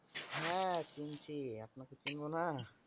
হ্যা চিনছি। আপনাকে চিনব না ।